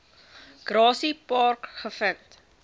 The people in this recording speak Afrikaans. grassy park gevind